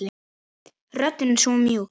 Röddin svo mjúk.